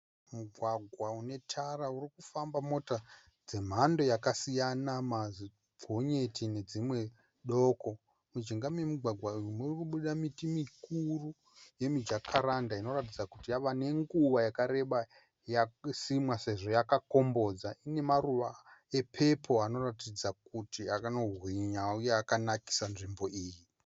Mugwagwa unetara uri kufamba mota dzemhando yakasiyana. Mazigonyeti nedzimwe doko. Mujinga memugwagwa murikubuda miti yemijakaranda inoratidza kuti yava nenguva yakareba yasimwa sezvo yakombodza. Ine maruva epepo anoratidza kuti akanohwinya uye akanakisa nzvimbo iyi.